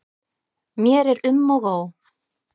Mér er um og ó.